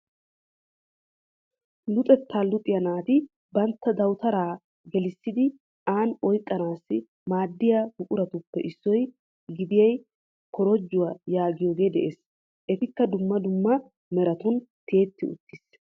Luxettaa luxiyaa naati bantta dawutaraa gelissidi aan oyqqanaasi maaddiyaa buquraappe issuwaa gidiyaa korojjuwaa yaagiyoogee de'ees. etikka dumma dumma meratun tiyetti uttiis.